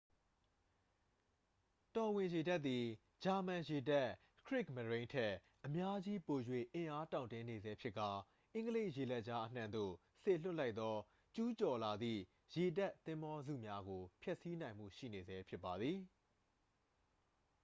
တော်ဝင်ရေတပ်သည် ဂျာမန်ရေတပ် ခရစ်မရိုန်း” ထက် အများကြီးပို၍အင်အားတောင့်တင်းနေဆဲဖြစ်ကာ အင်္ဂလိပ်ရေလက်ကြားအနှံ့သို့ စေလွှတ်လိုက်သော ကျူးကျော်လာသည့် ရေတပ်သင်္ဘောစုများကို ဖျက်ဆီးနိုင်မှုရှိနေဆဲဖြစ်ပါသည်။